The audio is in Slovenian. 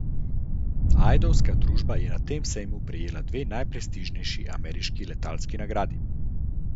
Ajdovska družba je na tem sejmu prejela dve najprestižnejši ameriški letalski nagradi.